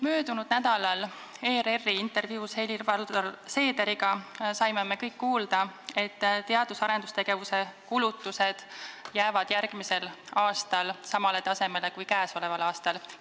" Möödunud nädalal tegi ERR intervjuu Helir-Valdor Seederiga ja me saime kõik kuulda, et teadus- ja arendustegevuse kulutused jäävad järgmisel aastal samale tasemele kui käesoleval aastal.